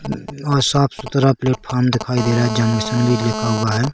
--साफ़ सुथरा प्लेटफार्म दिखाई दे रहा है जंक्शन भी लिख हुआ है।